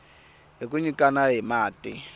hi ku nyikana hi mati